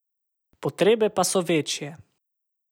Potrebe pa so večje.